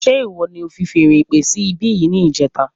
Ṣe ìwọ ní o fi feèrè ìpè sí ibi yìí ní ìjẹta